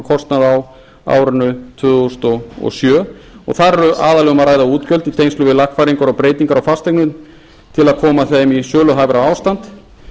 á árinu tvö þúsund og sjö þar er aðallega um að ræða útgjöld í tengslum við lagfæringar og breytingar á fasteignum til að koma þeim í söluhæfara ástand